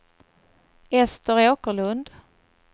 Ester Åkerlund